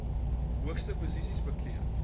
hoogste posisies beklee